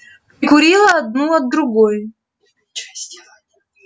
прикурила одну от другой